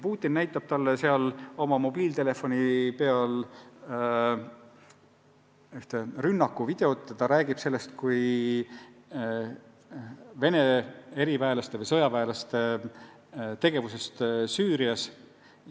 Putin näitab talle seal oma mobiiltelefonist ühte rünnakuvideot ja räägib sellest kui Vene sõjaväelaste tegevusest Süürias.